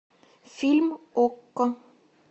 фильм окко